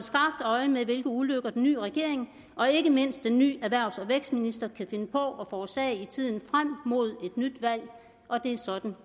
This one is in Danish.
øje med hvilke ulykker den nye regering og ikke mindst den nye erhvervs og vækstminister kan finde på at forårsage i tiden frem mod et nyt valg og det er sådan